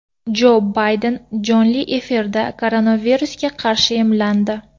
Jo Bayden jonli efirda koronavirusga qarshi emlandi .